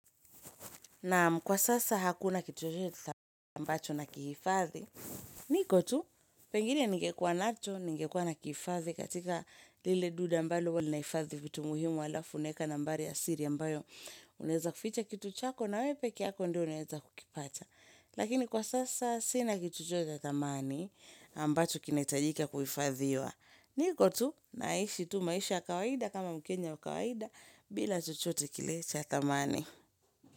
Naam, kwa sasa hakuna kitu chochote ambacho nakihifadhi. Niko tu, pengine ningekuwa nacho, ningekwa nakihifadhi katika lile duda ambalo huwa linahifadhi vitu muhimu halafu unaweka nambari ya siri ambayo unawezaficha kitu chako na wewe peke yako ndio unaweza kukipata. Lakini kwa sasa sina kitu chochote cha thamani ambacho kinahitajika kuhifadhiwa. Niko tu, naishi tu maisha ya kawaida kama mkenya wa kawaida bila chochote kile cha thamani.